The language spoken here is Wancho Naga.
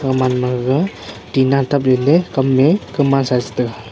gamanma gaga tina taple le kam me kamansa chi taga.